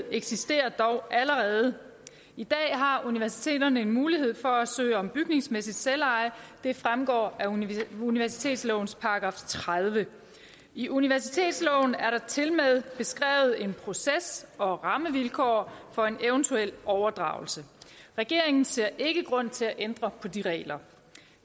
eksisterer dog allerede i dag har universiteterne en mulighed for at søge om bygningsmæssigt selveje det fremgår af universitetslovens § tredivete i universitetsloven er der tilmed beskrevet en proces og rammevilkår for en eventuel overdragelse regeringen ser ikke grund til at ændre på de regler